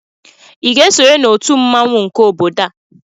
ị ga-esonye na otu mmawụ nke obodo a?